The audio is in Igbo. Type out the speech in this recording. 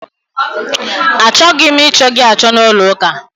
A chọghị m ị chọ gị achọ n'ụlọ ụka!